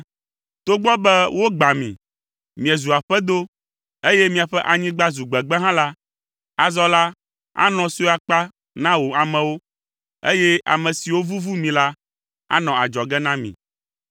“Togbɔ be wogbã mi, miezu aƒedo, eye miaƒe anyigba zu gbegbe hã la, azɔ la, anɔ sue akpa na wò amewo, eye ame siwo vuvu mi la, anɔ adzɔge na mi.